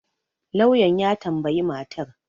lauyan ya tambayi matar